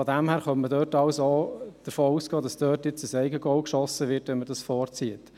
Daher könnte man auch davon ausgehen, dass dort nun ein Eigentor geschossen wird, wenn man dies vorzieht.